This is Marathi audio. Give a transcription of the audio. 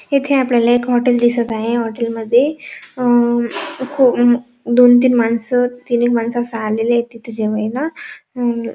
इथे आपल्याला एक हॉटेल दिसत आहे हॉटेलमध्ये अ दोन तीन माणस तीन माणस आलेले आहे तिथ जेवायला आणि--